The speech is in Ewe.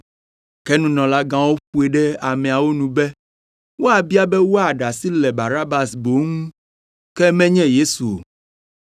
Ke nunɔlagãwo ƒoe ɖe ameawo nu be woabia be wòaɖe asi le Barabas boŋ ŋu, ke menye Yesu o.